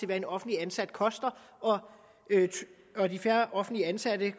hvad en offentligt ansat koster og de færre offentligt ansatte